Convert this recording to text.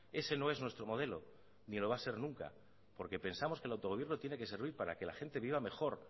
ese no es nuestro modelo ni lo va a ser nunca porque pensamos que el autogobierno tiene que servir para que la gente viva mejor